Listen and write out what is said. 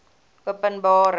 openbare